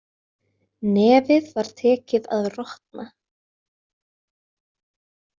Nefið var tekið að rotna.